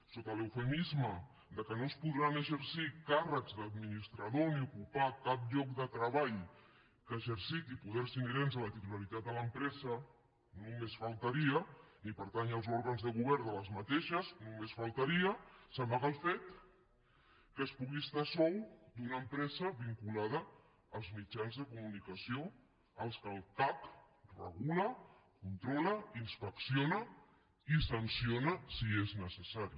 sota l’eufemisme que no es podran exercir càrrecs d’administrador ni ocupar cap lloc de treball que exerciti poders inherents a la titularitat de l’empresa només faltaria ni pertànyer als òrgans de govern d’aquestes només faltaria s’amaga el fet que es pugui estar a sou d’una empresa vinculada als mitjans de comunicació que el cac regula controla inspecciona i sanciona si és necessari